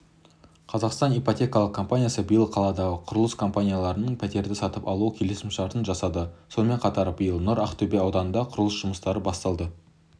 қазақстан ипотекалық компаниясы биыл қаладағы құрылыс компанияларынан пәтерді сатып алу келісімшартын жасады сонымен қатар биыл нұр ақтөбе ауданында құрылыс жұмыстары басталды